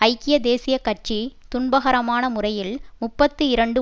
ஐக்கிய தேசிய கட்சி துன்பகரமான முறையில் முப்பத்தி இரண்டு